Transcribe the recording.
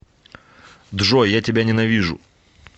джой я тебя ненавижу